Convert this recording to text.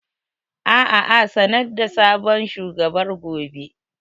Aa a sanar da sabon shugabar gobe